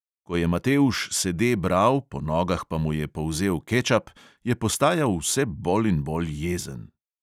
Ko je matevž sede bral, po nogah pa mu je polzel kečap, je postajal vse bolj in bolj jezen.